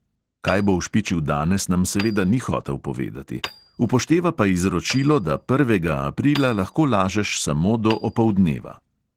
Kaj bo ušpičil danes, nam seveda ni hotel povedati, upošteva pa izročilo, da prvega aprila lahko lažeš samo do opoldneva.